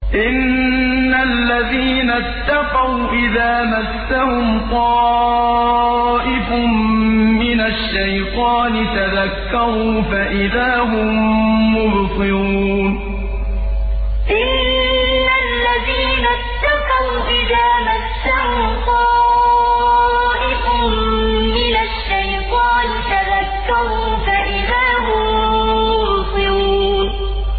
إِنَّ الَّذِينَ اتَّقَوْا إِذَا مَسَّهُمْ طَائِفٌ مِّنَ الشَّيْطَانِ تَذَكَّرُوا فَإِذَا هُم مُّبْصِرُونَ إِنَّ الَّذِينَ اتَّقَوْا إِذَا مَسَّهُمْ طَائِفٌ مِّنَ الشَّيْطَانِ تَذَكَّرُوا فَإِذَا هُم مُّبْصِرُونَ